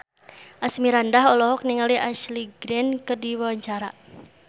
Asmirandah olohok ningali Ashley Greene keur diwawancara